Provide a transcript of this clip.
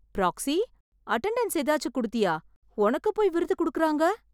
Proxy attendance ஏதாச்சு கொடுத்தியா, ஒனக்கு போய் விருது கொடுக்கறாங்க!